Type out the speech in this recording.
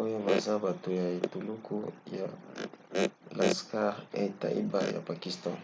oyo baza bato ya etuluku ya laskhar-e-taiba ya pakistan